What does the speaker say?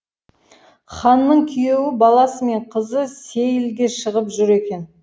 ханның күйеу баласы мен қызы сейілге шығып жүр екен